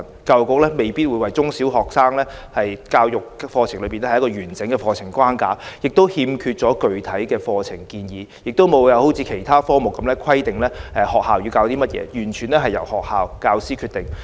教育局並未為中、小學生的生命教育設計完整的課程框架，欠缺具體的課程建議，亦未有好像其他科目般規定學校要教授甚麼，完全由學校和教師決定。